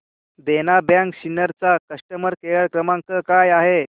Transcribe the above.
देना bank Sinnar चा customer care क्रमांक काय आहे